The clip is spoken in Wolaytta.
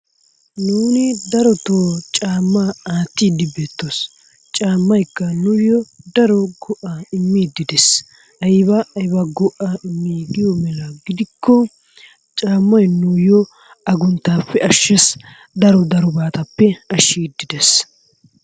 Nuuni darotoo caammaa aattiddi beettoos. Caammaykka nuyyo daro go'aa immiiddi de'ees. Ayba ayba go'aa immii giyo meran gidikko caammay nuyyo agunttaappe ashshes, daro darobatuppe ashshiiddi de'ees.